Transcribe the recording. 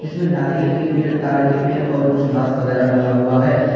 इसमें नारियल के पेड़ तार के पेड़ और कुछ घास वगैरा लगा हुआ है।